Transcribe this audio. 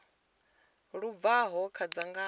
lu bvaho kha dzangano ḽa